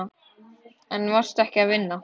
En varstu ekki að vinna?